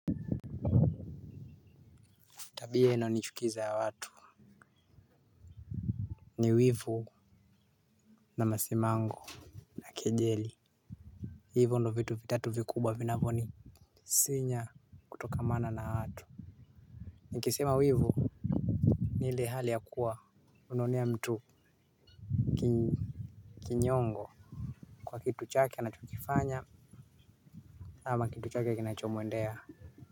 Tabia inayonichukiza ya watu. Ni wivu na masimango. Na kejeli. Hivo ndo vitu vitatu vikubwa vinavyonisinya kutokamana na watu. Nikisema wivu ni ile hali ya kuwa unaonea mtu. Kinyongo kwa kitu chake anachokifanya. Ama kitu chake kinachomwendea.